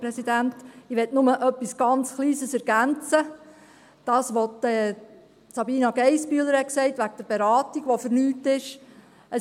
Ich möchte nur etwas ganz Kleines ergänzen, betreffend das, was Sabina Geissbühler gesagt hat über die Beratung, die vergeblich sei: